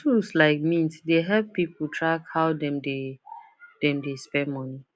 tools like mint dey help people track how dem dey dem dey spend money